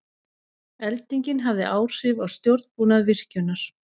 Eldingin hafði áhrif á stjórnbúnað virkjunar